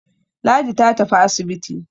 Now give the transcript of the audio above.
Ladi ta tafi asibiti.